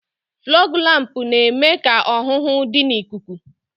Fọọg lámpu na-eme ka ọhụhụ dị n'ikuku.